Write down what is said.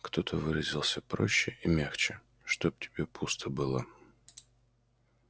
кто-то выразился проще и мягче чтоб тебе пусто было